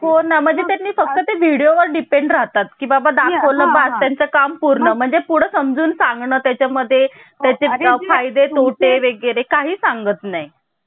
भारतीय राज्यघटना बनवण्यात आली आहे अस कोण म्हंटल Doctor बाबासाहेब आंबडेकर हे म्हणालेले आहे. आता मित्रांनो आता अजून एक गोष्ट